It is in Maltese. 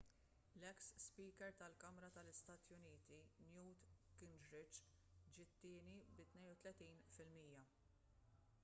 l-eks speaker tal-kamra tal-istati uniti newt gingrich ġie t-tieni bi 32 fil-mija